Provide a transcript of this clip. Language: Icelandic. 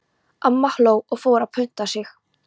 Amma hló og fór að punta sig.